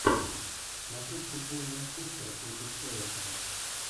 смотреть футбол манчестера против эвертона